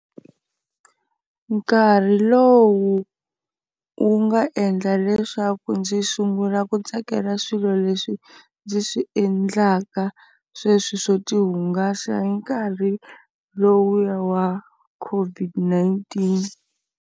Nkarhi lowu wu nga endla leswaku ndzi sungula ku tsakela swilo leswi ndzi swi endlaka sweswi swo ti hungasa hi nkarhi lowuya wa COVID-19.